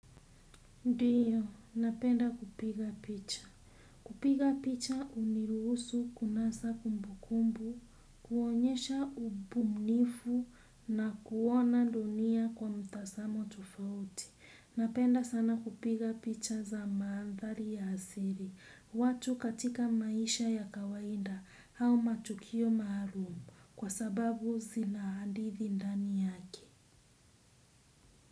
Ndiyo, napenda kupiga picha. Kupiga picha huniruhusu kunasa kumbukumbu, kuonyesha ubunifu na kuona dunia kwa mtazamo tofauti. Napenda sana kupiga picha za mandhari ya asili, watu katika maisha ya kawaida au matukio maalum kwa sababu zina hadithi ndani yake.